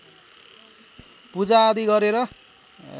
पूजाआदि गरेर